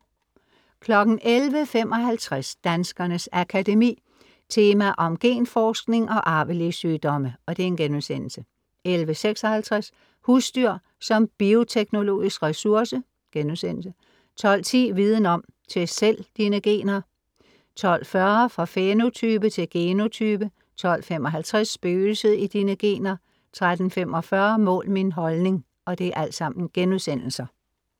11:55 Danskernes Akademi. Tema om genforskning og arvelige sygdomme* 11:56 Husdyr som bioteknologisk ressource* 12:10 Viden Om: Test selv dine gener* 12:40 Fra fænotype til genotype* 12:55 Spøgelset i dine gener* 13:45 Mål min holdning*